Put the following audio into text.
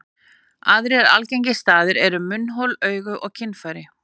Aðrir algengir staðir eru munnhol, augu og kynfæri.